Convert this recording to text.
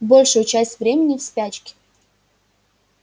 большую часть времени в спячке